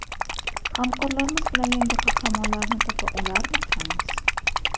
hamkorlarimiz bilan yangi qahramonlarni topa olarmikanmiz.